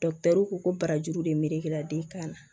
ko barajuru de melekela den kan na